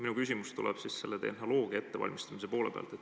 Minu küsimus on tehnoloogia ettevalmistamise kohta.